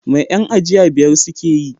Mai yan aji biyar suke yi?